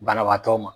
Banabaatɔ ma